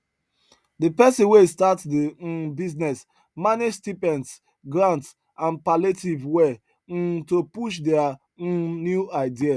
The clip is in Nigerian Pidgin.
the person wey start the um business manage stipends grants and palliative well um to push their um new idea